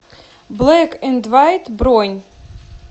блэк энд вайт бронь